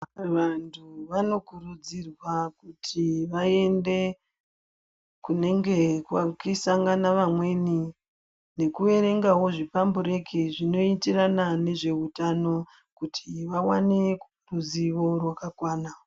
Vantu vano kurudzirwa kuti vaende kunenge kuchi sangana vamweni neku erengawo zvi pambureki zvino itirana nezve utano kuti va wane ruzivo rwaka kwana.